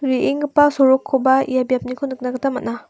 re·enggipa sorokkoba ia biapniko nikna gita man·a.